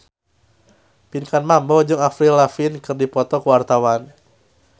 Pinkan Mambo jeung Avril Lavigne keur dipoto ku wartawan